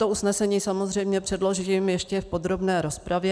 To usnesení samozřejmě předložím ještě v podrobné rozpravě.